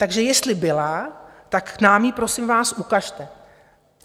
Takže jestli byla, tak nám ji prosím vás ukažte.